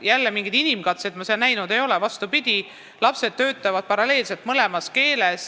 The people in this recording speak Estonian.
Jällegi, mingeid inimkatseid ma seal näinud ei ole – vastupidi, lapsed töötavad paralleelselt mõlemas keeles.